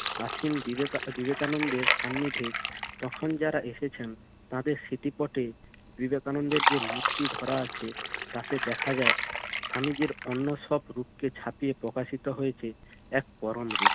আছেন বিবে~ বিবেকানন্দের সান্নিধ্যে তখন যারা এসেছেন তাদের স্মৃতিপটে বিবেকানন্দের যে মূর্তি ধরা আছে তাতে দেখা যায় স্বামীজির অন্য সব রূপকে ছাপিয়ে প্রকাশিত হয়েছে এক পরম রূপ।